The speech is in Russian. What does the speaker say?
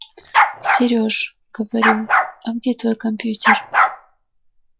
сереж говорю а где твой компьютер